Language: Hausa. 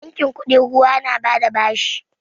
Bankin kuɗin ruwa na ba da bashi